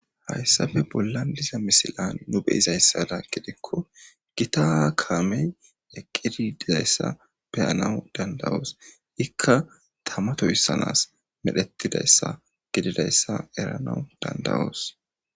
hayssafe bolla liza misilan nu beyizayssada gidekko gitaa kaamey eqqidi dizayssa peyanawu dandawoos ikka tamatohyssanas medhettidayssa gididayssa eranawu dandawoos